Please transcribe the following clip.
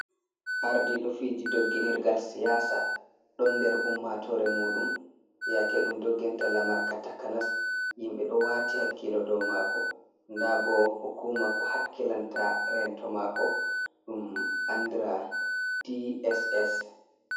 Arɗiɗo fiji ɗogginirgal siyasa ɗon nder ummatore muɗum, yake ɗum ɗogginta lamarka takanas. Yimbe ɗo wati hakkilo ɗow mako. Da bo hukuma ko hakkilanta rento mako ɗum anɗira di eses.